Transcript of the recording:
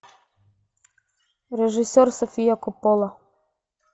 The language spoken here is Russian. режиссер софия коппола